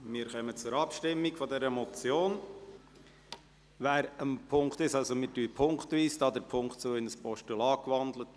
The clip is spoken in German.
Wir kommen zur Abstimmung dieser Motion und stimmen wegen der Wandlung in ein Postulat punktweise ab.